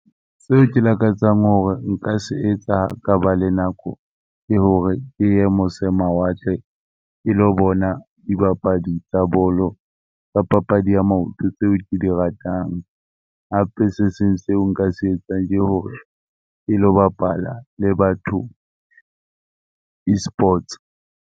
Seo ke lakatsang hore nka se etsa ka ba le nako ke hore, ke ye mose mawatle, ke lo bona dibapadi tsa bolo kapa papadi ya maoto tseo ke di ratang. Hape se seng seo nka se etsang ke hore ke lo bapala le batho Esports.